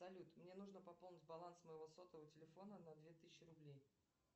салют мне нужно пополнить баланс моего сотового телефона на две тысячи рублей